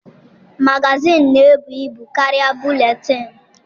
Magazịịnụ na-ebu ibu karịa buletịịnụ.